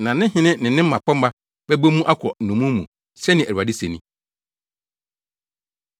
Na ne hene ne mmapɔmma bɛbɔ mu akɔ nnommum mu,” sɛnea Awurade se ni.